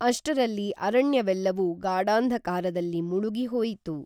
ಅಷ್ಟರಲ್ಲಿ ಅರಣ್ಯವೆಲ್ಲವೂ ಗಾಢಾಂಧಕಾರದಲ್ಲಿ ಮುಳುಗಿ ಹೋಯಿತು